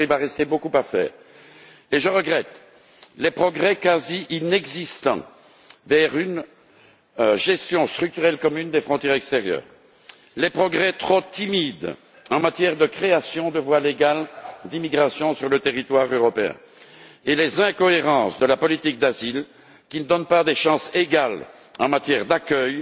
Bien sûr, il restera beaucoup à faire, et je regrette les progrès quasi inexistants vers une gestion structurelle commune des frontières extérieures, les progrès trop timides en matière de création de voies légales d'immigration sur le territoire européen et les incohérences de la politique d'asile, qui ne donne pas de chances égales en matière d'accueil